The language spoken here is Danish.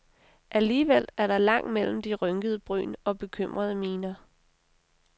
Alligevel er der langt mellem de rynkede bryn og bekymrede miner.